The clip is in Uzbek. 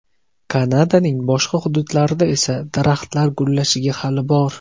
Kanadaning boshqa hududlarida esa daraxtlar gullashiga hali bor.